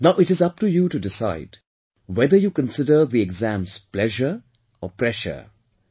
Now, it is up to you to decide whether you consider the exams pleasure or pressure